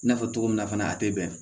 I n'a fɔ cogo min na fana a tɛ bɛn